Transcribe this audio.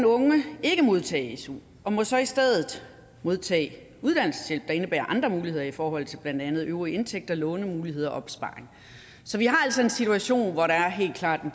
unge ikke modtage su og må så i stedet modtage uddannelseshjælp der indebærer andre muligheder i forhold til blandt andet øvrige indtægter lånemuligheder og opsparing så vi har altså en situation i hvor der helt klart er